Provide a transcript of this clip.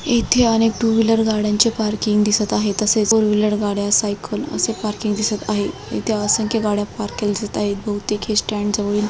येथे अनेक two wheeler गाड्यांचे पार्किंग दिसत आहे तसेच फो र्व्हीलर गाड्या सायकल असे पार्किंग दिसत आहे इथे असंख्य गाड्या पार्क केलेले दिसत आहे बहुतेक हे स्टँड जवळील --